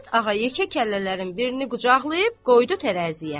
Qarabet ağa yekə kəllələrin birini qucaqlayıb qoydu tərəziyə.